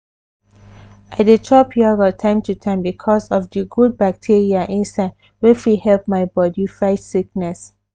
i dey chop yogurt time to time because of di good bacteria inside wey fit help my body fight sickness.